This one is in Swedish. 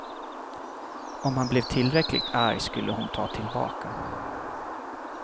Om han blev tillräckligt arg skulle hon ta tillbaka.